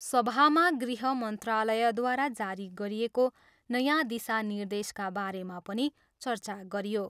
सभामा गृह मन्त्रालयद्वारा जारी गरिएको नयाँ दिशानिर्देशका बारेमा पनि चर्चा गरियो।